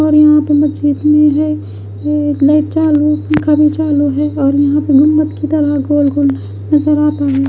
और यहां मुझे पे है ये एक लाइट चालू पंखा भी चालू और गुम्त की तरह गोल गोल नजर आता है।